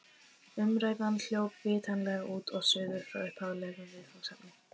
Umræðan hljóp vitanlega út og suður frá upphaflegu viðfangsefni.